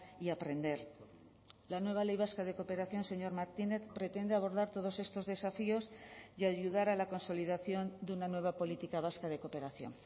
y aprender la nueva ley vasca de cooperación señor martínez pretende abordar todos estos desafíos y ayudar a la consolidación de una nueva política vasca de cooperación